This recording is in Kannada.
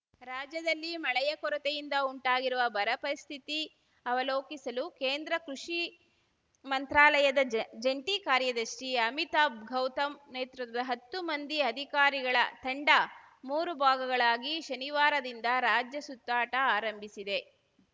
ರಾಜ್ಯದಲ್ಲಿ ಮಳೆಯ ಕೊರತೆಯಿಂದ ಉಂಟಾಗಿರುವ ಬರ ಪರಿಸ್ಥಿತಿ ಅವಲೋಕಿಸಲು ಕೇಂದ್ರ ಕೃಷಿ ಮಂತ್ರಾಲಯದ ಜ ಜಂಟಿ ಕಾರ್ಯದರ್ಶಿ ಅಮಿತಾಬ್‌ ಗೌತಮ್‌ ನೇತೃತ್ವದ ಹತ್ತು ಮಂದಿ ಅಧಿಕಾರಿಗಳ ತಂಡ ಮೂರು ಭಾಗಗಳಾಗಿ ಶನಿವಾರದಿಂದ ರಾಜ್ಯಸುತ್ತಾಟ ಆರಂಭಿಸಿದೆ